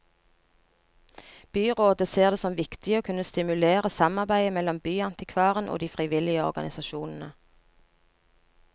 Byrådet ser det som viktig å kunne stimulere samarbeidet mellom byantikvaren og de frivillige organisasjonene.